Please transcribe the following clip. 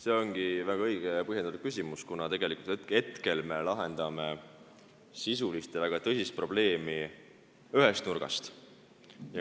See ongi väga õige ja põhjendatud küsimus, kuna tegelikult me hetkel lahendame sisulist ja väga tõsist probleemi nagu ühest nurgast.